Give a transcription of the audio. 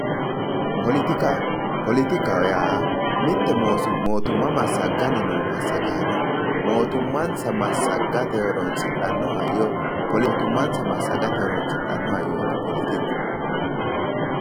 Politika politikaho ya mitte motuma masaganni no masagano motumanasa masagate horonsidhano hayyo motimanasa masagate hirosidhano hayyoti politiku